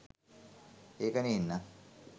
ඒක නේන්නං.